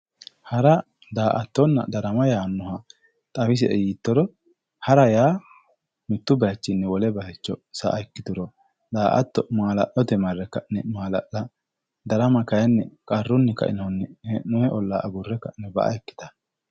Hara, da"aattonna darama yaanoha xawisie yiittoro hara yaa mitu bayichinni wole bayicho sa"a ikkituro, da"aatto mala'lote marre ka'ne mala'la ,darama kayinni qarrunni kainohunni hee'nonni olla agure ba"a ikkittano.